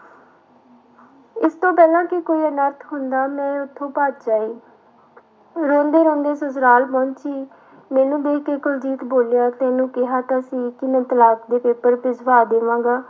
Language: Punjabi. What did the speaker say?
ਇਸਤੋਂ ਪਹਿਲਾਂ ਕਿ ਕੋਈ ਅਨਰਥ ਹੁੰਦਾ ਮੈਂ ਉੱਥੋਂ ਭੱਜ ਆਈ ਰੋਂਦੇ ਰੋਂਦੇ ਸਸੁਰਾਲ ਪਹੁੰਚੀ, ਮੈਨੂੰ ਦੇਖ ਕੇ ਕੁਲਜੀਤ ਬੋਲਿਆ ਤੈਨੂੰ ਕਿਹਾ ਤਾਂ ਸੀ ਕਿ ਮੈਂ ਤਲਾਕ ਦੇ ਪੇਪਰ ਭਿਜਵਾ ਦੇਵਾਂਗਾ।